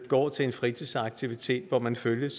går til en fritidsaktivitet hvor man følges